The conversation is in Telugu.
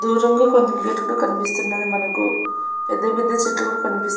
దూరంగా కొంత గేట్ కుడా కనిపిస్తున్నది మనకు పెద్ద-పెద్ద చెట్లు కూడా కనిపిస్ --